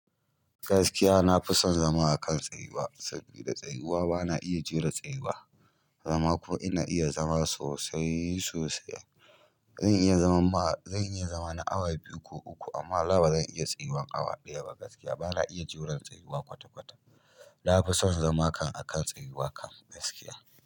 Gaskiya, na fi son zama a kan tsayuwa sabida tsayuwa bana iya jure tsayuwa. Zama ko ina iya zama sosai sosai. Zan iya zaman ma, zan iya zama na awa biyu ko uku amma wallahi ba zan iya tsayuwan awa ɗaya ba gaskiya. Bana iya jiran tsayuwa kwata-kwata. Na fi son zamakan a kan tsayuwa kam gaskiya.